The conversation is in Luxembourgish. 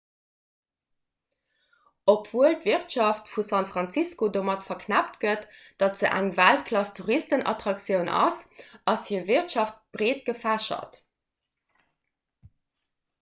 obwuel d'wirtschaft vu san francisco domat verknëppt gëtt datt se eng weltklass-touristenattraktioun ass ass hir wirtschaft breet gefächert